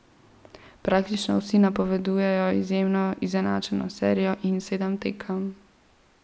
Praktično vsi napovedujejo izjemno izenačeno serijo in sedem tekem.